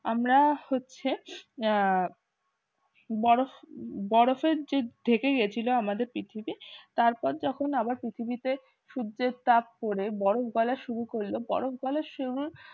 আমরা হচ্ছে বরফের যে ঢেকে গেছিল আমাদের পৃথিবীতে তারপর যখন আবার পৃথিবীতে সূর্যের তাপ পড়ে বরফ গলা শুরু করল বরফ গলা শুরু